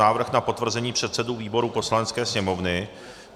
Návrh na potvrzení předsedů výborů Poslanecké sněmovny